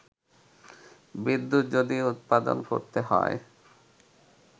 বিদ্যুৎ যদি উৎপাদন করতে হয়